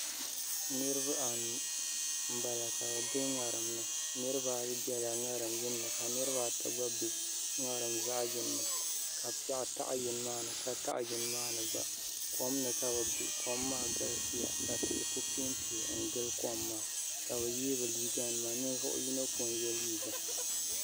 Niraba anu n bala ka bi bɛ ŋarim ni niraba ata biɛla ŋarim zaɣ yini ni ka niraba ayi gba bɛ ŋarim zaɣ yini ni ka piɛɣu taɣa yini maa ni ka taɣa yini maa ni gba kom ni ka bi biɛ kom maa galisiya ka tihi ku piɛ n piɛ n gili kom maa ka bi yee bi liiga nima ninvuɣu yino ko n yɛ liiga